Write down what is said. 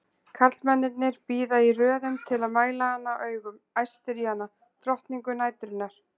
Karlmennirnir bíða í röðum til að mæla hana augum, æstir í hana, drottningu næturinnar!